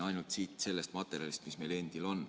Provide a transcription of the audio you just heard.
Ainult siit sellest materjalist, mis meil endil on.